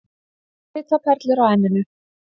Svitaperlur á enninu.